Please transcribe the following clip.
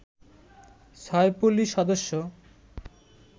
ছয় পুলিশ সদস্য